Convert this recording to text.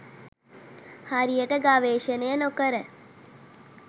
හරියට ගවේෂණය නොකර